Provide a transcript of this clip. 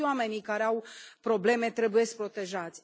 Toți oamenii care au probleme trebuie protejați.